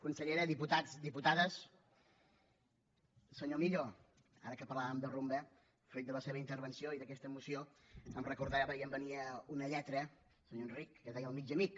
consellera diputats diputades senyor millo ara que parlàvem de rumba fruit de la seva intervenció i d’aquesta moció em recordava i em venia una lletra senyor enric que es deia el mig amic